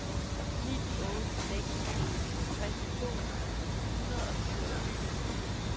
ni otte seks syv halvtreds to hundrede og syvogtyve